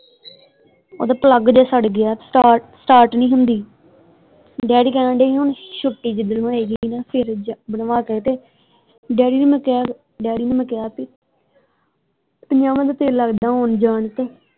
ਓਹਦਾ ਪਲੱਗ ਜਿਹਾ ਸੜ ਗਿਆ ਸਟਾਰਟ ਸਟਾਰਟ ਨਹੀਂ ਹੁੰਦੀ ਦਾਦੀ ਕਹਿਣ ਦੇ ਹੀ ਹੁਣ ਛੁੱਟੀ ਜਿੱਦਣ ਹੋਏਗੀ ਨਾ ਫੇਰ ਬਣਵਾ ਕੇ ਤੇ ਡੈਡੀ ਨੂੰ ਮੈਂ ਕਿਹਾ ਡੈਡੀ ਨੂੰ ਮੈਂ ਕਿਹਾ ਸੀ ਪੰਜਾਵਾਂ ਦਾ ਤੇਲ ਲਗਦਾ ਆਉਣ ਜਾਣ ਤੇ।